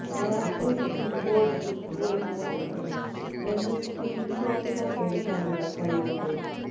Mac ഒരു keyboard കുറുക്കുവഴി അല്ലെങ്കിൽ രണ്ടു സ്ക്രീൻഷോട്ടുകൾ എടുക്കാനുള്ള കഴിവുണ്ട്